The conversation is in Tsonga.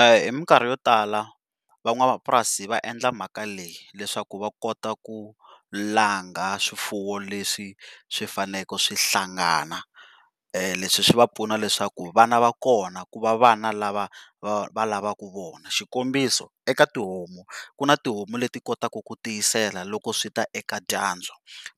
Hi minkarhi yo tala van'wamapurasi va endla mhaka leyi leswaku va kota ku langha swifuwo leswi swifanele swi hlangana, leswi swi va pfuna leswaku vana va kona ku va vana lava va lavaku vona xikombiso eka tihomu ku na tihomu leti kotaka ku ku tiyisela loko swi ta eka dyandza.